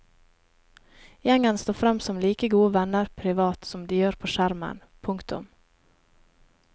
Gjengen står frem som like gode venner privat som de gjør på skjermen. punktum